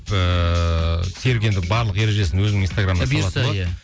ыыы серік енді барлық ережесін өзінің инстаграмына